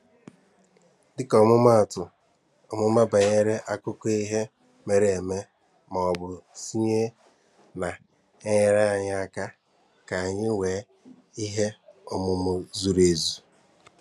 Dịka ọmụmaatụ, ọmụmụ banyere akụkọ ihe mere eme maọbụ sayensị na-enyere anyị aka k'anyi nwee ihe ọmụma zuru ezu.